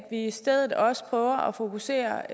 i stedet også prøver at fokusere